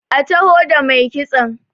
a taho da mai kitson!